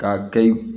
K'a kɛ yi